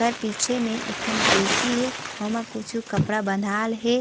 एकर पीछे में एक ठन कुर्सी हे ओमा कुछु कपड़ा बन्धाल हे।